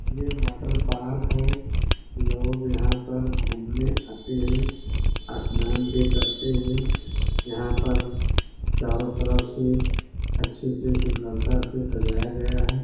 ये वाटरपार्क है। लोग यहाँ पर घूमने आते हैं। स्नान भी करते हैं। यहाँ पर चारों तरफ से अच्छे से सुन्दरता से सजाया गया है।